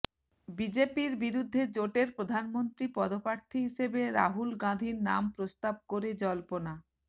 বিজেপির বিরুদ্ধে জোটের প্রধানমন্ত্রী পদপ্রার্থী হিসেবে রাহুল গাঁধীর নাম প্রস্তাব করে জল্পনা